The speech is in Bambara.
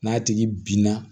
N'a tigi binna